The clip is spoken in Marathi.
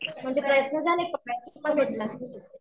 म्हणजे प्रयत्न झाले पकडायचे पण भेटलाच नाही तो.